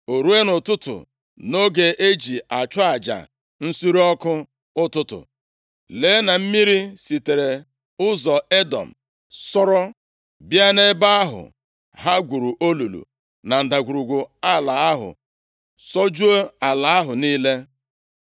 O ruo, nʼụtụtụ, nʼoge e ji achụ aja nsure ọkụ ụtụtụ, lee na mmiri sitere ụzọ Edọm sọọrọ bịa nʼebe ahụ ha gwuru olulu na ndagwurugwu ala ahụ sọjuo ala ahụ niile.